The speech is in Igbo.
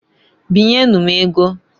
Binye nu m ego.